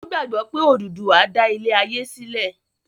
o gbàgbó pe Oduduwa dá ilé aye silẹ.